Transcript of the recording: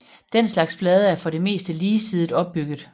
Den slags blade er for det meste ligesidet opbygget